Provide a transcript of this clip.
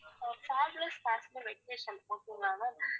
fabulous vacation okay ங்களா ma'am